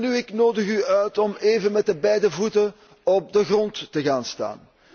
Welnu, ik nodig u uit om even met beide voeten op de grond te gaan staan.